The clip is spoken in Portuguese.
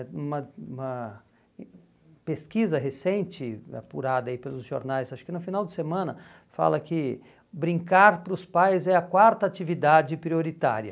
Uma uma pesquisa recente, apurada aí pelos jornais, acho que no final de semana, fala que brincar para os pais é a quarta atividade prioritária.